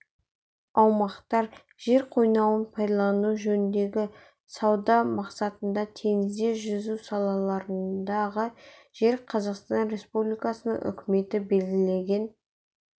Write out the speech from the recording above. аумақтар жер қойнауын пайдалану жөніндегі сауда мақсатында теңізде жүзу салаларындағы және қазақстан республикасының үкіметі белгілеген